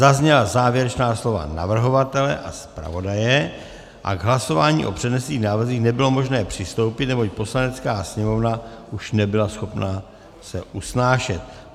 Zazněla závěrečná slova navrhovatele a zpravodaje a k hlasování o přednesených návrzích nebylo možné přistoupit, neboť Poslanecká sněmovna už nebyla schopna se usnášet.